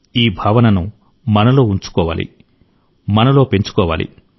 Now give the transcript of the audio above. ఈ భావనను మనలో ఉంచుకోవాలి పెంచుకోవాలి